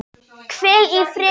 Hvíl í friði, stjúpi minn.